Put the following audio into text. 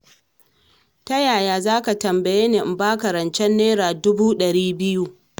Ta yaya za ka tambaye ni in ba ka rancen naira dubu ɗari biyu?